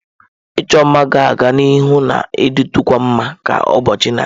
Ịchọ mma ga-aga n'ihu na-ditukwa mma ka ụbọchị na-aga.